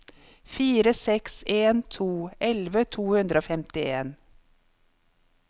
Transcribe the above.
fire seks en to elleve to hundre og femtien